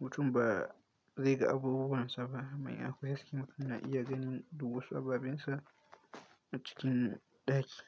mutum ba zai ga abubuwan sa ba. Mai akwai haske mutum na iya ganin duk wasu ababensa a cikin ɗaki.